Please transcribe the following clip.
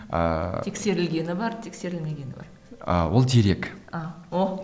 ыыы тексерілгені бар тексерілмегені бар ы ол дерек